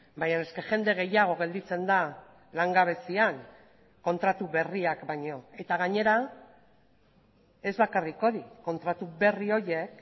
baina jende gehiago gelditzen da langabezian kontratu berriak baino eta gainera ez bakarrik hori kontratu berri horiek